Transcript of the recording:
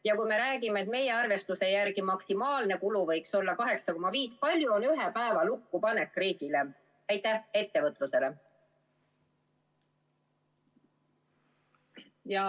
Ja kui me räägime, et meie arvestuse järgi võiks maksimaalne kulu olla 8,5 miljonit, siis kui palju maksab selle ühe päeva meetme lukkupanek riigile ja ettevõtlusele?